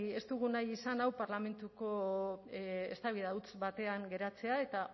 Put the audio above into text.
ez dugu nahi izan hau parlamentuko eztabaida huts batean geratzea eta